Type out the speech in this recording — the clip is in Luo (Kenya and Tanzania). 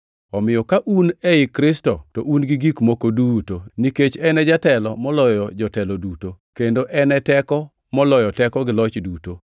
omiyo ka un ei Kristo to un gi gik moko duto, nikech en e jatelo moloyo jotelo duto, kendo en e teko moloyo teko gi loch duto.